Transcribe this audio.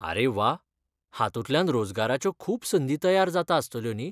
आरे वा! हातूंतल्यान रोजगाराच्यो खूब संदी तयार जाता आस्तल्यो न्ही.